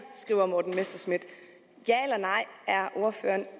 skriver morten messerschmidt er ordføreren